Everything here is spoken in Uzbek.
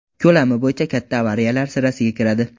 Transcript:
Ko‘lami bo‘yicha katta avariyalar sirasiga kiradi.